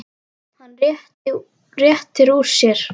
Hann réttir úr sér.